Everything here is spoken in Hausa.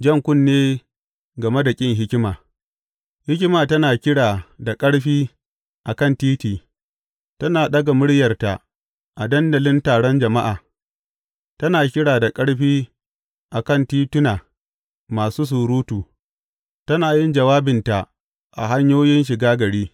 Jan kunne game da ƙin hikima Hikima tana kira da ƙarfi a kan titi, tana ɗaga muryarta a dandalin taron jama’a; tana kira da ƙarfi a kan tituna masu surutu, tana yin jawabinta a hanyoyin shiga gari.